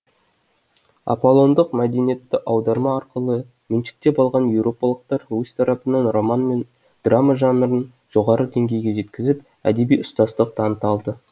аполлондық мәдениетті аударма арқылы меншіктеп алған еуропалықтар өз тарапынан роман мен драма жанрын жоғарғы деңгейге жеткізіп әдеби ұстаздық таныта алды